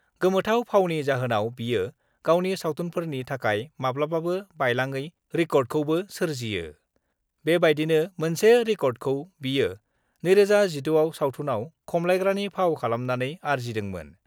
गोमोथाव फावनि जाहोनाव बियो गावनि सावथुनफोरनि थाखाय माब्लाबाबो बायलाङै रिकर्डखौबो सोरजियो बेबायदिनो मोनसे रिकर्डखौ बियो 2016 आव सावथुनआव खमलायग्रानि फाव खालामनानै आरजिदोंमोन।